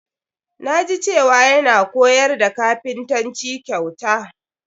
Na ji cewa yana koyar da kapintanci kyauta.